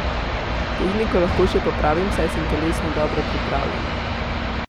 Tehniko lahko še popravim, saj sem telesno dobro pripravljen.